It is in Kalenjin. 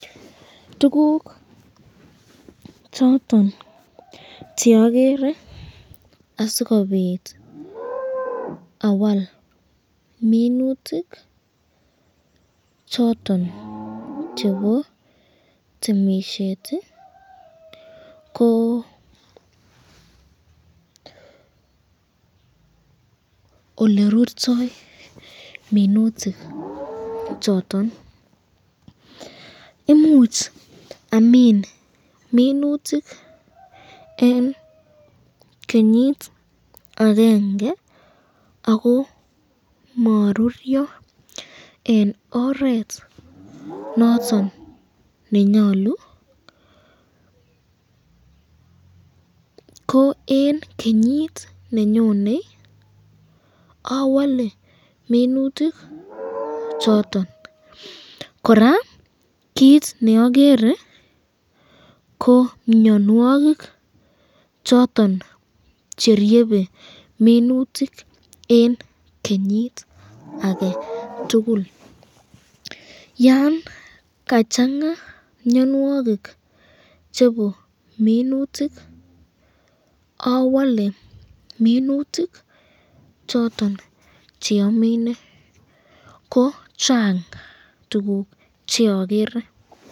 Tukuk choton cheagere asikobit awal minutik choton chepo temisyet ko olerurto minutik choton, imuch Amin minutik eng kenyit akenge ako maruryo eng oret noton nenyalu, ko eng kenyit nenyone awake minutik choton, koraa kit neagere ko mnyanwakik choton cheryebe minutik eng kenyit aketukul, yan kachanga mnyanwakik chebo minutik awake minutik choton cheamine ,ko Chang tukuk cheagere.